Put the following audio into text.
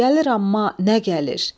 Gəlir, amma nə gəlir.